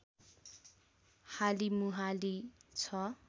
हालिमुहाली छ